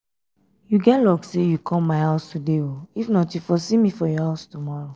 you get luck say you come my house today if not you for see me for your house tomorrow